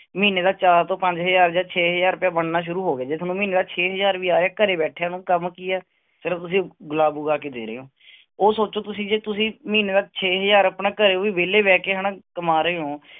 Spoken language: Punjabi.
ਮਹੀਨੇ ਦਾ ਚਾਰ ਤੋਂ ਪੰਜ ਹਜ਼ਾਰ ਜਾਂ ਛੇ ਹਜ਼ਾਰ ਰੁਪਇਆ ਬਣਨਾ ਸ਼ੁਰੂ ਹੋ ਗਿਆ, ਜੇ ਤੁਹਾਨੂੰ ਮਹੀਨੇ ਦਾ ਛੇ ਹਜ਼ਾਰ ਵੀ ਆ ਰਿਹਾ ਘਰੇ ਬੈਠਿਆਂ ਨੂੰ, ਕੰਮ ਕੀ ਹੈ ਸਿਰਫ਼ ਤੁਸੀਂ ਗੁਲਾਬ ਉਗਾ ਕੇ ਦੇ ਰਹੇ ਹੋ ਉਹ ਸੋਚੋ ਤੁਸੀਂ ਜੇ ਤੁਸੀਂ ਮਹੀਨੇ ਦਾ ਛੇ ਹਜ਼ਾਰ ਆਪਣਾ ਘਰੇ ਉਹ ਵਿਹਲੇ ਬਹਿ ਕੇ ਹਨਾ ਕਮਾ ਰਹੇ ਹੋ,